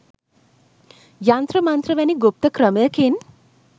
යන්ත්‍ර මන්ත්‍ර වැනි ගුප්ත ක්‍රමයකින්